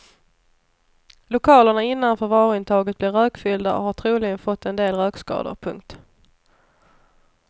Lokalerna innanför varuintaget blev rökfyllda och har troligen fått en del rökskador. punkt